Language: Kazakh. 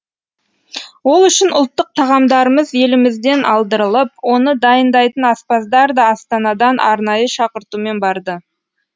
ол үшін ұлттық тағамдарымыз елімізден алдырылып оны дайындайтын аспаздар да астанадан арнайы шақыртумен барды